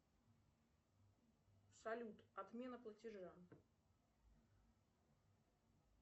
салют отмена платежа